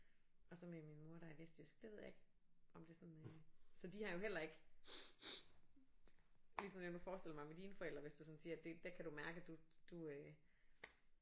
Og så med min mor der er vestjysk det ved jeg ikke om det sådan øh så de har jo heller ikke ligesom jeg kunne forestille mig med dine forældre hvis du sådan siger det der kan du mærke at du du øh